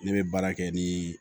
Ne bɛ baara kɛ ni